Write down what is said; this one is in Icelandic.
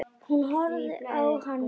Hún horfir á hann hlessa.